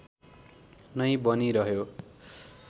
नै बनिरह्यो